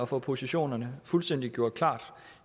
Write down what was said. få positionerne fuldstændig gjort klart